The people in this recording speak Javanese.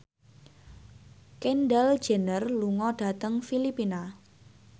Kendall Jenner lunga dhateng Filipina